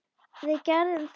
Við gerðum það ekki.